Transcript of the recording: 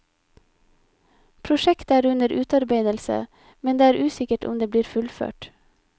Prosjektet er under utarbeidelse, men det er usikkert om det blir fullført.